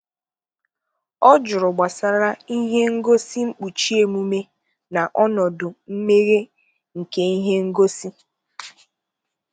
ọ jụrụ gbasara ihe ngosi nkpuchi emume na ọnọdụ mmeghe nke ihe ngosi